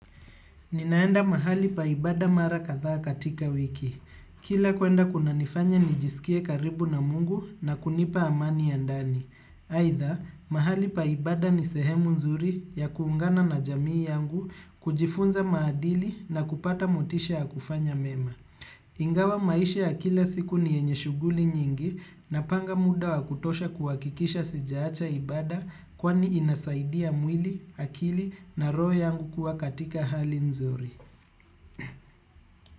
Ninaenda mahali pa ibada mara kadhaa katika wiki. Kila kuenda kuna nifanya nijisikie karibu na Mungu na kunipa amani ya ndani. Aitha, mahali pa ibada ni sehemu nzuri ya kuungana na jamii yangu, kujifunza maadili na kupata motisha ya kufanya mema. Ingawa maisha ya kila siku ni yenye shuguli nyingi napanga muda wa kutosha kuwakikisha sijaacha ibada kwani inasaidia mwili, akili na roho yangu kuwa katika hali nzuri.